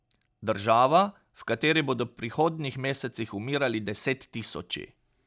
Država, v kateri bodo v prihodnjih mesecih umirali desettisoči.